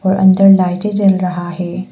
और अंदर लाइट जल रहा है।